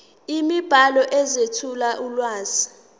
imibhalo ezethula ulwazi